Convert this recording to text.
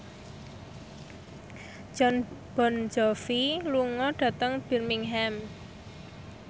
Jon Bon Jovi lunga dhateng Birmingham